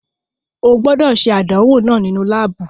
O gbọdọ ṣe àdánwò náà nínú laabu